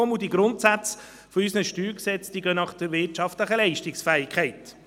Zudem richten sich die Grundsätze unserer Steuergesetze nach der wirtschaftlichen Leistungsfähigkeit.